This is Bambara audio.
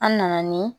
An nana ni